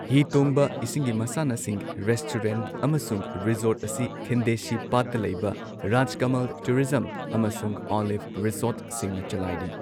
ꯍꯤ ꯇꯣꯡꯕ, ꯏꯁꯤꯡꯒꯤ ꯃꯁꯥꯟꯅꯁꯤꯡ, ꯔꯦꯁꯇꯨꯔꯦꯟꯠ, ꯑꯃꯁꯨꯡ ꯔꯤꯖꯣꯔꯠ ꯑꯁꯤ ꯈꯤꯟꯗꯦꯁꯤ ꯄꯥꯠꯇ ꯂꯩꯕ ꯔꯥꯖꯀꯃꯜ ꯇꯨꯔꯤꯖꯝ ꯑꯃꯁꯨꯡ ꯑꯣꯂꯤꯚ ꯔꯤꯁꯣꯔꯠꯁꯤꯡꯅ ꯆꯂꯥꯏꯔꯤ꯫